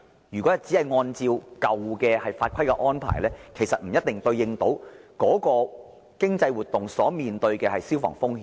如果當局只是按照舊法規來應對新的商業活動，則未必能夠處理相關的消防風險。